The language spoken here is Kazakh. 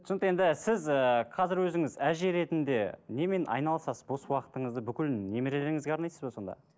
түсінікті енді сіз ы қазір өзіңіз әже ретінде немен айналысасыз бос уақытыңызды бүкіл немерелерңізге арнайсыз ба сонда